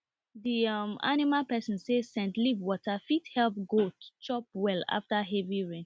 the um animal person say scent leaf water fit help goat chop well after heavy rain